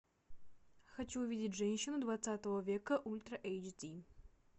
хочу увидеть женщину двадцатого века ультра эйч ди